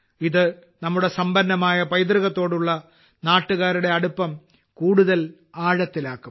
ഇത് നമ്മുടെ സമ്പന്നമായ പൈതൃകത്തോടുള്ള നാട്ടുകാരുടെ അടുപ്പം കൂടുതൽ ആഴത്തിലാക്കും